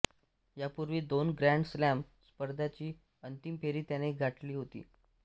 ह्यापूर्वी दोन grand slam स्पर्धांची अंतिम फेरी त्याने गाठली होती